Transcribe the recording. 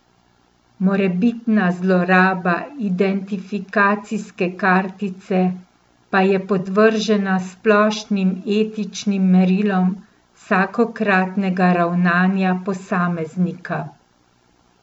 Morebitna zloraba identifikacijske kartice pa je podvržena splošnim etičnim merilom vsakokratnega ravnanja posameznika.